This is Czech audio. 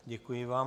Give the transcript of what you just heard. Děkuji vám.